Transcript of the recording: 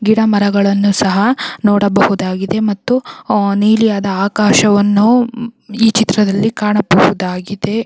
ಗಿಡ ಮರಗಳನ್ನು ಸಹ ನೋಡಬಹುದಾಗಿದೆ ಮತ್ತು ನೀಲಿಯಾದ ಆಕಾಶವನ್ನು ಈ ಚಿತ್ರದಲ್ಲಿ ಕಾಣಬಹುದಾಗಿದೆ.